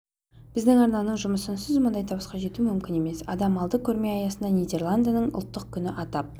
біздің арнаның жұмысынсыз мұндай табысқа жету мүмкін емес адам алды көрме аясында нидерландының ұлттық күні атап